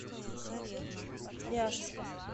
ряжска